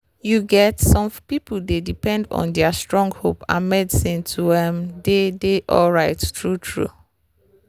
you get some people dey depend on their strong hope and medicine to ehh dey dey alright true-true